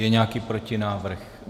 Je nějaký protinávrh?